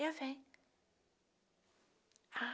Eu venho. A